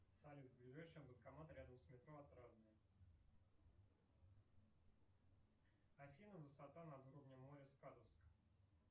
салют ближайший банкомат рядом с метро отрадное афина высота над уровнем моря скадовск